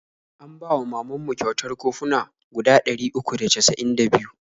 An bawa wa mamanmu kwatar koffuna guda ɗari uku da cas'in da biyu.